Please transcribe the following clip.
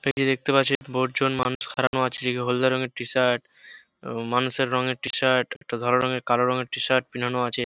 এই দেখতে পাচ্ছেন বহুত জন মানুষ খাড়ানো আছে যে কে হলদে রঙের টিশাট মানুষের রঙের টী শার্ট একটা ধরণের কালো রঙের টি শার্ট পেনানো আছে।